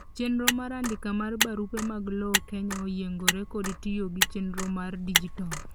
chenro mar andika mar barupe mag lowo Kenya oyiengore kod tiyo gi chenro mar dijital